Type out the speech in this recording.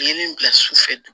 Ye min bila su fɛ dun